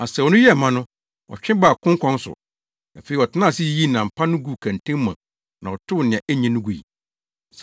Asau no yɛɛ ma no, ɔtwe baa konkɔn so. Afei ɔtenaa ase yiyii nam pa no guu kɛntɛn mu na ɔtow nea enye no gui.